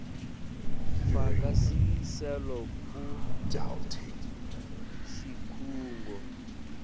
faka sicelo kusikhungo